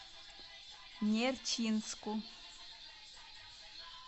нерчинску